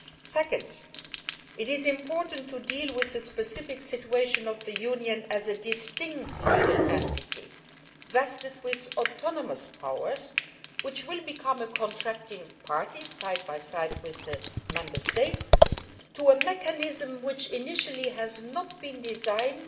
Second, it is important to deal with the specific situation of the Union as a distinct legal entity, vested with autonomous powers, which will become a contracting party side by side with the Member States to a mechanism which was not, initially, designed